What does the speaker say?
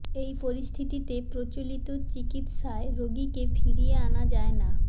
এই পরিস্থিতিতে প্রচলিত চিকিত্সায় রোগীকে ফিরিয়ে আনা যায় না